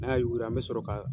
N'an y'a yuwiri, an bi sɔrɔ ka